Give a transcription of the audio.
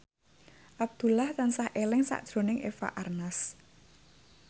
Abdullah tansah eling sakjroning Eva Arnaz